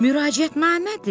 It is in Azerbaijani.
Müraciətnamədir!